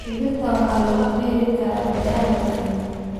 Digirta waxaa lagu beeri karaa beeraha waaweyn.